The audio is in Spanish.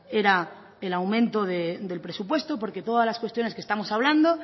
era el aumento del presupuesto porque todas las cuestiones que estamos hablando